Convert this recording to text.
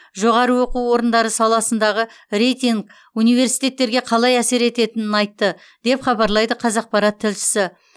жоғарғы оқу орындары саласындағы рейтинг университеттерге қалай әсер етенінін айтты деп хабарлайды қазақпарат тілшісі